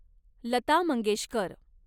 Lata Mangeshkar